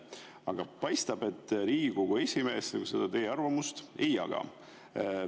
Aga paistab, et Riigikogu esimees teie arvamust ei jaga.